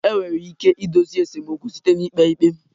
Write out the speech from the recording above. Enwere ike idozi esemokwu site na ikpe ikpe